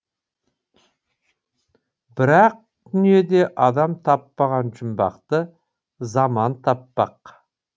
бірақ дүниеде адам таппаған жұмбақты заман таппақ